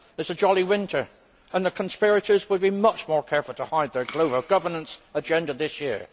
It is a jolly winter, and the conspirators will be much more careful to hide their global governance agenda this year.